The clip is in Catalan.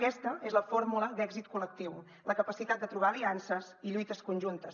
aquesta és la fórmula d’èxit col·lectiu la capacitat de trobar aliances i lluites conjuntes